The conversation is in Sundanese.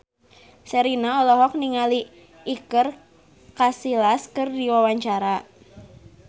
Sherina olohok ningali Iker Casillas keur diwawancara